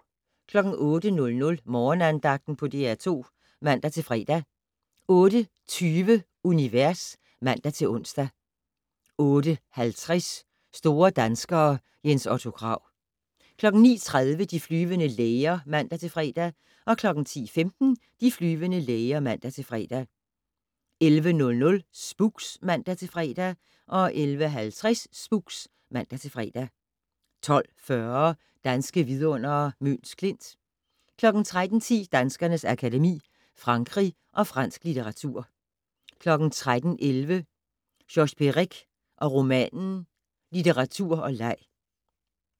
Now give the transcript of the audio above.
08:00: Morgenandagten på DR2 (man-fre) 08:20: Univers (man-ons) 08:50: Store danskere - Jens Otto Krag 09:30: De flyvende læger (man-fre) 10:15: De flyvende læger (man-fre) 11:00: Spooks (man-fre) 11:50: Spooks (man-fre) 12:40: Danske vidundere: Møns Klint 13:10: Danskernes Akademi: Frankrig og fransk litteratur 13:11: Georges Perec og romanen - litteratur og leg